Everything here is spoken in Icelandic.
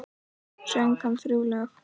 Söng hann þrjú lög.